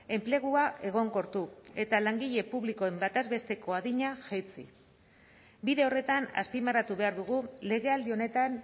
enplegua egonkortu eta langile publikoen bataz besteko adina jaitsi bide horretan azpimarratu behar dugu legealdi honetan